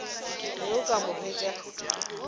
be o ka mo hwetša